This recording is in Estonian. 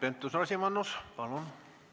Keit Pentus-Rosimannus, palun!